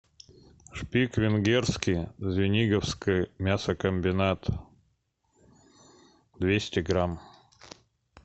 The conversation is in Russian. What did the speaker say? шпик венгерский звениговский мясокомбинат двести грамм